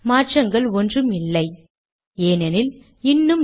முகவரியை மீண்டும் இடுவோம்